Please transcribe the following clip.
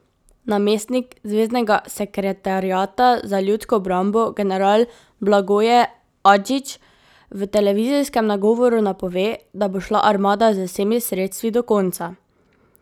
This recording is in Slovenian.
Namestnik zveznega sekretariata za ljudsko obrambo, general Blagoje Adžić, v televizijskem nagovoru napove, da bo šla armada z vsemi sredstvi do konca.